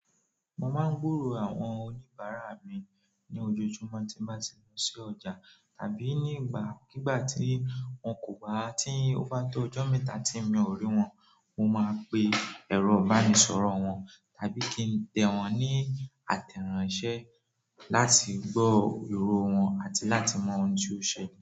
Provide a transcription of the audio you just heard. Mo máa ń gburò àwọn oníbàárà mi ní ojoojúmọ́ tí n bà ti lọ sí ọjà tàbí nígbàkigbà tí wọ́n kò bá-- ti o bá tó ọjọ́ mẹ́ta tí mi ò rí wọn. Mo máa pe ẹ̀rọ ìbánisọ̀rọ̀ wọn tàbí kí n tẹ wọn ní àtẹ̀ránsẹ́ láti gbọ́ ìrò wọn àti láti mọ ohun tí ó ṣele.